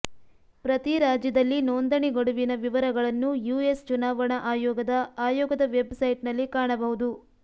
ಪ್ರತಿ ರಾಜ್ಯದಲ್ಲಿ ನೋಂದಣಿ ಗಡುವಿನ ವಿವರಗಳನ್ನು ಯುಎಸ್ ಚುನಾವಣಾ ಆಯೋಗದ ಆಯೋಗದ ವೆಬ್ ಸೈಟ್ನಲ್ಲಿ ಕಾಣಬಹುದು